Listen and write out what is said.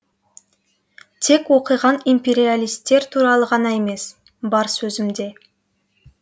тек оқыған империалистер туралы ғана емес бар сөзімде